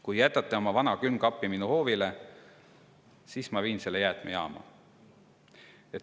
Kui jätate oma vana külmkapi minu hoovile, siis ma viin selle jäätmejaama.